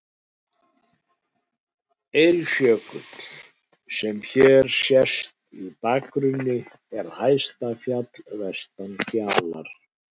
Eiríksjökull, sem hér sést í bakgrunni, er hæsta fjall vestan Kjalar.